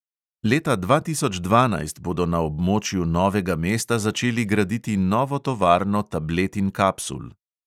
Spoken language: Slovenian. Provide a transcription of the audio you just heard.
Leta dva tisoč dvanajst bodo na območju novega mesta začeli graditi novo tovarno tablet in kapsul.